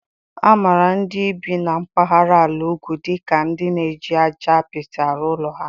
A maara ndị bi n'mpahara ala ugwu dika ka ndi na-eji aja apịtị arụ ụlọ ha.